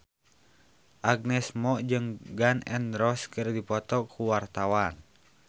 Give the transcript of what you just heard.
Agnes Mo jeung Gun N Roses keur dipoto ku wartawan